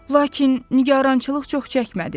Lakin nigarançılıq çox çəkmədi.